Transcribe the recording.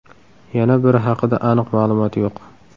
Yana biri haqida aniq ma’lumot yo‘q.